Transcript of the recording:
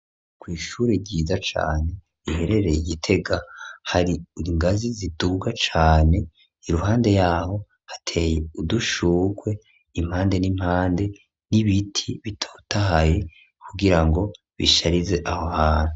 Kw'ishure ryiza cane, riherereye i Gitega, hari ingazi ziduga cane; iruhande y'aho, hateye udushurwe, impande n'impande, n'ibiti bitotahaye, kugira ngo bisharize aho hantu.